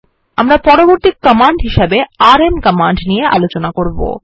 আমরা পরবর্তী command RM command দেখব